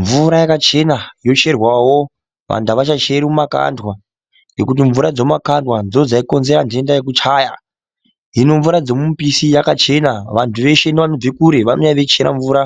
Mvura yakachena yocherwawo, vantu avachacheri mumakandwa, ngekuti mvura dzemumakandwa ndodzaikonzera ntenda yokuchaya. Hino mvura dzomumipisi yakachena ,vantu veshe nevanobve kure vanouya veichera mvura